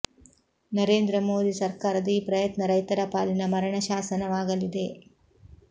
ನರೇಂದ್ರ ಮೋದಿ ಸರ್ಕಾರದ ಈ ಪ್ರಯತ್ನ ರೈತರ ಪಾಲಿನ ಮರಣ ಶಾಸನವಾಗಲಿದೆ